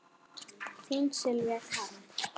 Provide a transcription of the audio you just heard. Þín Sylvía Karen.